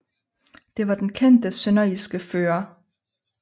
Det var den kendte sønderjyske fører I